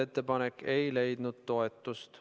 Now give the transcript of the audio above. Ettepanek ei leidnud toetust.